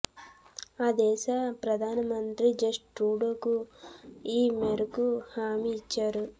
ఆ దేశ ప్రధానమంత్రి జస్టిన్ ట్రూడోకు ఈ మేరకు హామీ ఇచ్చారు